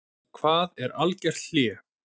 Hvað er algert hlé?